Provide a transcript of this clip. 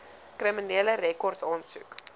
kriminele rekord aansoek